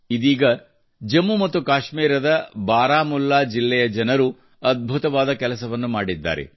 ಇದೀಗ ಜಮ್ಮು ಮತ್ತು ಕಾಶ್ಮೀರದ ಬಾರಾಮುಲ್ಲಾ ಜಿಲ್ಲೆಯ ಜನರು ಅದ್ಭುತವಾದ ಕೆಲಸವನ್ನು ಮಾಡಿದ್ದಾರೆ